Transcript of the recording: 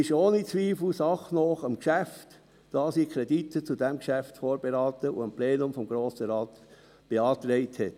Sie ist ohne Zweifel sachnah am Geschäft, da sie Kredite zu diesem Geschäft vorberaten und dem Plenum des Grossen Rates beantragt hat.